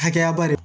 Hakɛya ba de